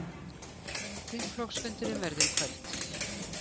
Þingflokksfundurinn verður í kvöld